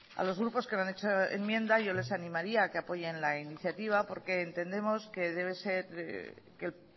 a los grupos que no han hecho enmienda yo les animaría a que apoyen la iniciativa porque entendemos que el